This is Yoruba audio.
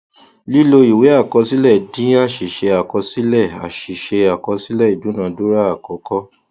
lílo ìwé àkọsílẹ dín àṣìṣe àkọsílẹ àṣìṣe àkọsílẹ ìdúnadúrà àkọkọ